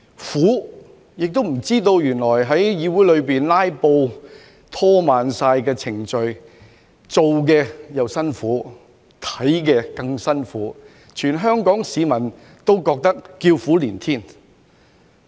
苦，亦不知道原來有人在議會裏"拉布"，拖慢程序，會令辦事的又辛苦，觀看的更辛苦，全香港市民都叫苦連天。